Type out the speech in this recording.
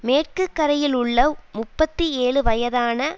மேற்கு கரையில் உள்ள முப்பத்தி ஏழு வயதான